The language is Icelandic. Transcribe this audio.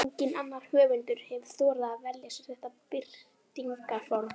Enginn annar höfundur hefur þorað að velja sér þetta birtingarform.